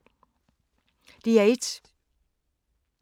DR1